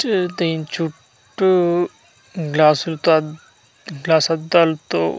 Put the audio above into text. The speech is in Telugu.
చే దీన్చుట్టూ గ్లాసుల్తో అద్ గ్లసద్దాల్తో --